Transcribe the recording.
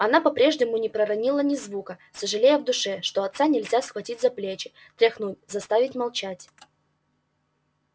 она по-прежнему не проронила ни звука сожалея в душе что отца нельзя схватить за плечи тряхнуть заставить замолчать